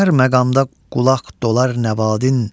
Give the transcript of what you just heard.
Hər məqamda qulaq dolar nəvadin.